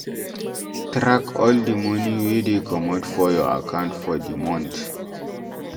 Track all di money wey dey comot for your account for di month